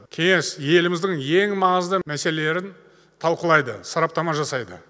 кеңес еліміздің ең маңызды мәсеелелерін талқылайды сараптама жасайды